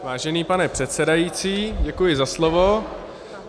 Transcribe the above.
Vážený pane předsedající, děkuji za slovo.